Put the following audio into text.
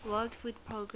world food programme